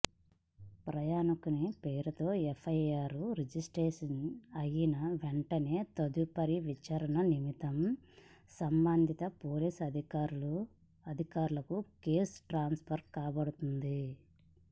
ప్రయాణికుని పేరుతో FIR register అయిన వెంటనే తదుపరి విచారణ నిమిత్తం సంబంధిత పోలీస్ అధికారులకు కేసు ట్రాన్స్ఫర్ కాబుడుతుంది